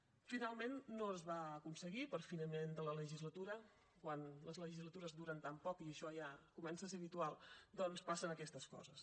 finalment no es va aconseguir per finiment de la legislatura quan les legislatures duren tan poc i això ja comença a ser habitual doncs passen aquestes coses